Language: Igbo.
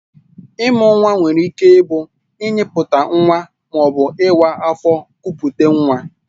Ịmụ nwa nwere ike ịbụ ịnyịputa nwa ma ọ bụ ịwa afọ kupute nwa